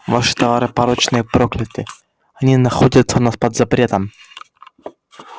ваши товары порочны и прокляты они находятся у нас под запретом